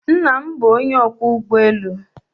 Nna m bụ onye ọkwọ ụgbọ elu